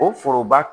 O foroba